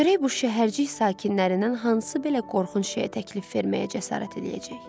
Görək bu şəhərcik sakinlərindən hansı belə qorxunc şeyə təklif verməyə cəsarət eləyəcək.